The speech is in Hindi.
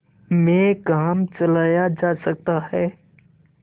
में काम चलाया जा सकता है